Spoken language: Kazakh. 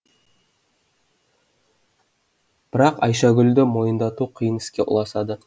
бірақ айшагүлді мойындату қиын іске ұласады